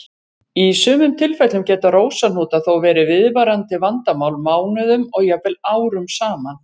Í sumum tilfellum geta rósahnútar þó verið viðvarandi vandamál mánuðum og jafnvel árum saman.